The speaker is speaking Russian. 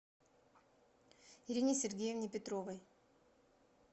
ирине сергеевне петровой